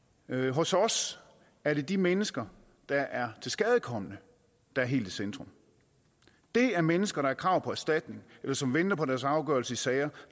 hos os er det de mennesker der er tilskadekomne der er helt i centrum det er mennesker der har krav på erstatning eller som venter på deres afgørelse i sager